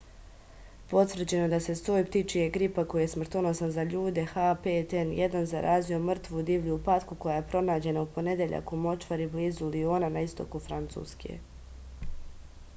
потврђено је да је сој птичјег грипа који је смртоносан за људе h5n1 заразио мртву дивљу патку која је пронађена у понедељак у мочвари близу лиона на истоку француске